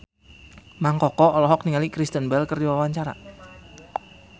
Mang Koko olohok ningali Kristen Bell keur diwawancara